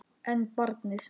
En barnið?